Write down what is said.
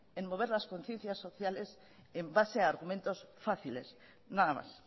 en mover las conciencias sociales en base a argumentos fáciles nada más